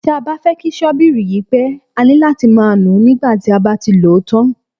Tí a bá fẹ́ kí ṣọ́bìrì yí pẹ́, a ní láti máa nùú nígbà tí a bá ti lòó tán.